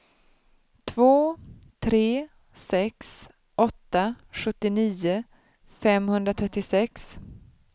två tre sex åtta sjuttionio femhundratrettiosex